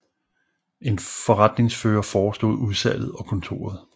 En forretningsfører forestod udsalget og kontoret